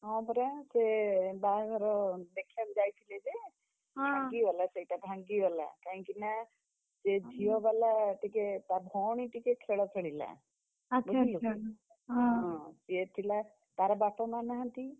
ହଁ, ପରା ସେ ବାହାଘର ଦେଖିଆକୁ, ଯାଇଥିଲେ ଯେ, ଭାଙ୍ଗିଗଲା ସେଇଟା ଭାଙ୍ଗିଗଲା, କାହିଁକି ନା, ସେ ଝିଅବାଲା ଟିକେ ତା ଭଅଣୀ ଟିକେ ଖେଳ ଖେଳିଲା। ବୁଝିଲୁ। ସିଏ ଥିଲା, ତାର ବାପା ମାଆ ନାହାନ୍ତି।